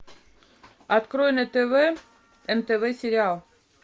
открой на тв нтв сериал